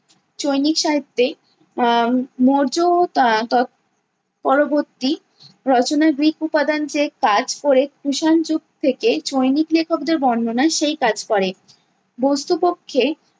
চৈনিক সাহিত্যে আহ মৌর্য ও আহ তৎ পরবর্তী রচনায় গ্রিক উপাদান যে কাজ ক'রে কুষাণ যুগ থেকে, চৈনিক লেখকদের বর্ণনা সেই কাজ করে। বস্তুপক্ষে